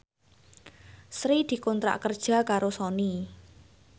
Sri dikontrak kerja karo Sony